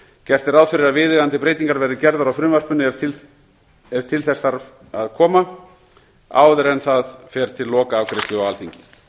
gert er ráð fyrir að viðeigandi breytingar verði gerðar á frumvarpinu ef til þess þarf að koma áður en það fer til lokaafgreiðslu á alþingi